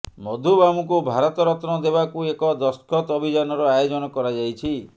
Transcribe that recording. ମଧୁବାବୁଙ୍କୁ ଭାରତ ରତ୍ନ ଦେବାକୁ ଏକ ଦସ୍ତଖତ ଅଭିଯାନର ଆୟୋଜନ କରାଯାଇଛି